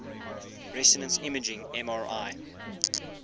resonance imaging mri